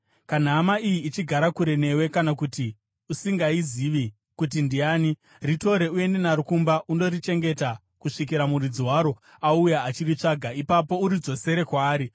Kana hama iyi ichigara kure newe kana kuti usingaizivi kuti ndiani, ritore uende naro kumba undorichengeta kusvikira muridzi waro auya achiritsvaga. Ipapo uridzosere kwaari.